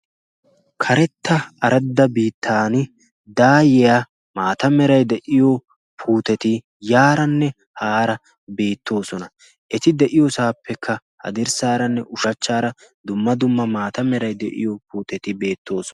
karetta aradda biittan daayiyaa maata merai de7iyo puuteti yaaranne haara beettoosona eti de7iyoosaappekka ha dirssaaranne ushachchaara dumma dumma maata merai de7iyo puuteti beettooson